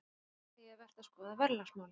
Í fyrsta lagi er vert að skoða verðlagsmálin.